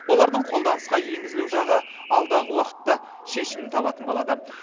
олардың қолданысқа енгізілу жағы алдағы уақытта шешімін табатын болады